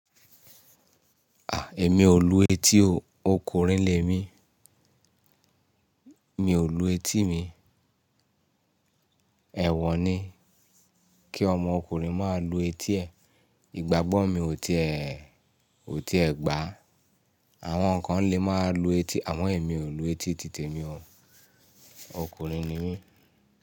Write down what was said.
À, èmi ò lù etí o. Okùnrin lẹ́ mi. Mi ò lù etí mi. Ẹ̀wọ̀ ni kí ọmọ ọkùnrin má lù etí ẹ̀. Ìgbàgbọ́ mi ò ti è, ò ti è gbà. Àwọn kan lè máa lù etí, àmọ èmi ò lù etí, tìtẹ̀ mi o. Okùnrin ni mí.